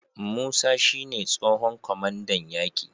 Musa shi ne tsohon kwamandan yaki